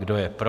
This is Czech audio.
Kdo je pro?